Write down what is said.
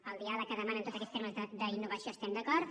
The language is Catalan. amb el dià leg que demanen tots aquests termes d’innovació estem d’acord